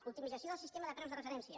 optimització del sistema de preus de referència